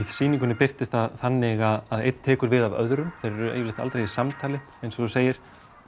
sýningunni birtist það þannig að einn tekur við af öðrum þeir eru yfirleitt aldrei í samtali eins og þú segir